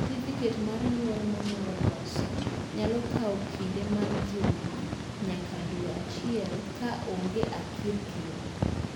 satifiket mar nyuol mi nuo loso nyalo kinde mat juma nyaka dwe achiel ka onge a kirikikr